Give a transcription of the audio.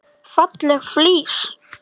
Falleg flís.